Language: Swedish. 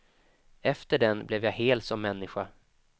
Efter den blev jag hel som människa.